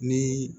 Ni